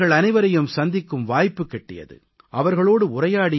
இந்த வாரம் அவர்கள் அனைவரையும் சந்திக்கும் வாய்ப்பு கிட்டியது